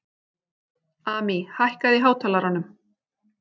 Amý, hækkaðu í hátalaranum.